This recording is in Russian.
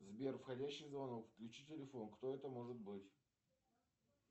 сбер входящий звонок включи телефон кто это может быть